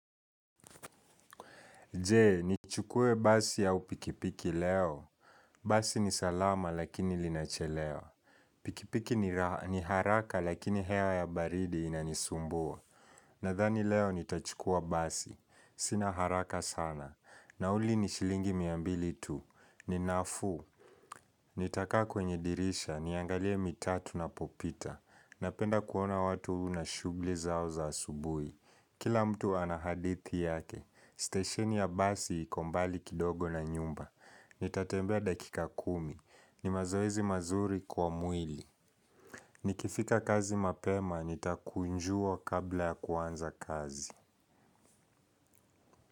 Jee, nichukue basi au pikipiki leo. Basi ni salama lakini linachelewa. Pikipiki ni haraka lakini hewa ya baridi inanisumbua. Nadhani leo nitachukua basi. Sina haraka sana. Nauli ni shilingi mia mbili tu. Ni nafuu. Nitakaa kwenye dirisha. Niangalie mitaa tunapopita. Napenda kuona watu na shugli zao za asubui. Kila mtu ana hadithi yake, stesheni ya basi iko mbali kidogo na nyumba. Nitatembea dakika kumi. Ni mazoezi mazuri kwa mwili. Nikifika kazi mapema, nitakunjua kabla ya kuanza kazi.